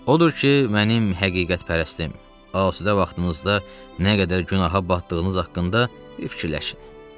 Odur ki, mənim həqiqətpərəstim, asudə vaxtınızda nə qədər günaha batdığınız haqqında bir fikirləşin.